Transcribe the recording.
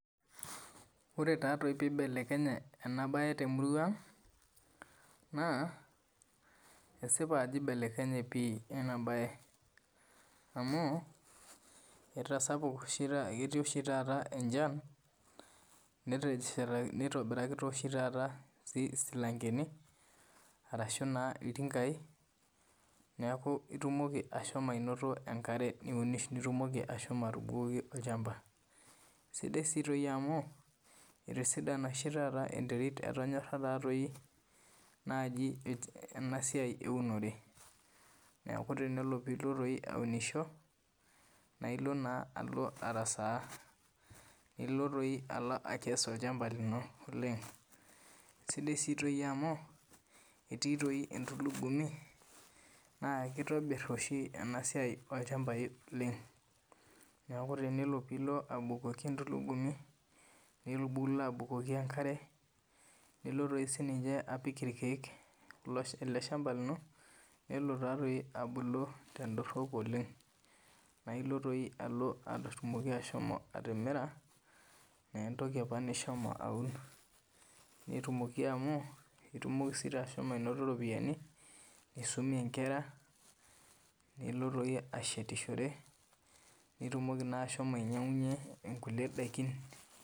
Ore tadoi pee eibelekenye ena mbae temurua ang naa kesipa Ajo eibelekenye pii ena mbae amu ketii oshi taa enchan nitobiraki esilankeni ashu iltingai neeku etumoki ashomo anoto enkare nilo abukoki olchamba sidai si amu etisidana oshi taata enterit etonyara enasiai ewunore neeku tenelo piloo aunisho naa elo arasaa nilo akees olchamba lino oleng sidai sii amu etii antulugumi naa kitobir oshi ena siai olchamba oleng neeku tenelo piloo abukoki entulugumu nilo abukoki enkare nilo sininye apik irkeek ele shamba lino nelo taadoi abulu tedorop oleng nailo atumoki ashomo atimira entoki apa nishomo aun netumoki amu etumoki ashomo anoto eropiani nitumie Nkera nilo ashetishore nitumoki ashomo ainyiang'unyie nkulie daikin